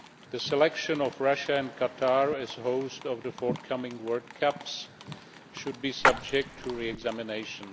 The selection of Russia and Qatar as hosts of the forthcoming World Cups should be subject to re examination.